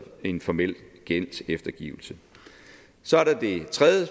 en formel gældseftergivelse det tredje